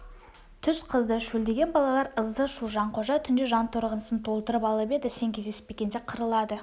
түс қызды шөлдеген балалар ызы-шу жанқожа түнде жанторғынсын толтырып алып еді сен кездеспегенде қырылады